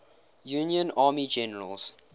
union army generals